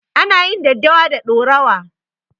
Ana yin daddawa da ɗaurawa.